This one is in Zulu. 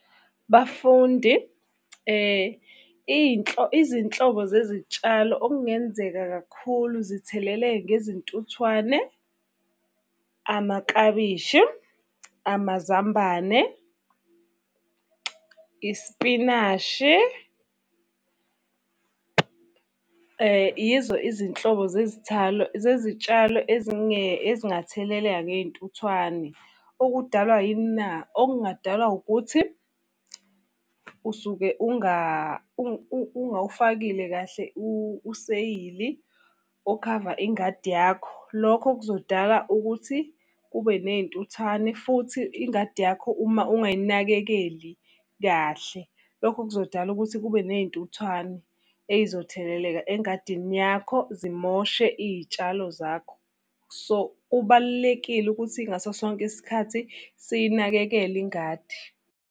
Bafundi, izinhlobo zezitshalo okungenzeka kakhulu zitheleleke ngezintuthwane, amaklabishi, amazambane, isipinashi. Yizo izinhlobo zezithalo zezitshalo ezingatheleleka ngey'ntuthwane. Okudalwa yini na? Okungadalwa ukuthi, usuke ungawufakile kahle useyili okhava ingadi yakho. Lokho kuzodala ukuthi kube ney'ntuthwane futhi ingadi yakho uma ungay'nakekeli kahle, lokho kuzodala ukuthi kube ney'ntuthwane ey'zotheleleka engadini yakho zimoshe iy'tshalo zakho. So, kubalulekile ukuthi ngaso sonke isikhathi siyinakekele ingadi.